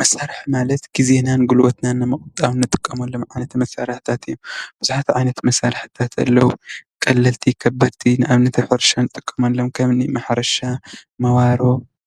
መሳርሒ ማለት ግዜናን ግልቦትናን ንምቁጣብ እንጥቀመሉ ዓይነታት መሳርሕታት እዮም ። ቡዙሓት ዓይነታት መሳርሕታት ኣለዉ ቀለልቲ ከበድቲ ንኣብነት:- ኣብ ሕርሻ እንጥቀመሎም ከምኒ ማሕረሻ ፣መዋሮ